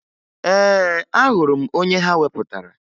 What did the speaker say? Ee, ahụrụ m onye ha wepụtara